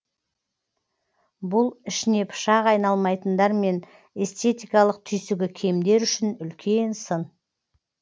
бұл ішіне пышақ айналмайтындар мен эстетикалық түйсігі кемдер үшін үлкен сын